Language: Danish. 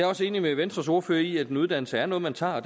også enig med venstres ordfører i at en uddannelse er noget man tager og